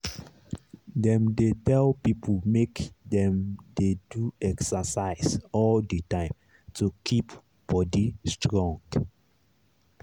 dem dey tell people make dem dey do exercise all the time to keep body strong.